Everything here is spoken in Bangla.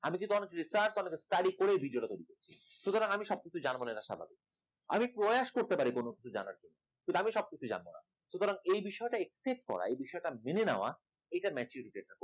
আমি অনেক কিছু study করে video টা তৈরি করছি সুতরাং আমি সবকিছু জানবো না এটা স্বাভাবিক আমি প্রয়াস করতে পারি কোন কিছু জানার আমি সবকিছু জানবো না সুতরাং এই বিষয়টা accept করা এ বিষয়টা মেনে নেওয়া এটা maturity